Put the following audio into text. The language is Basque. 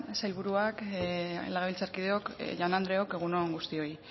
sailburuak legebiltzarkideok jaun andreok egun on guztioi